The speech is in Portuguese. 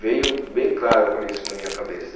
Veio bem claro para isso na minha cabeça.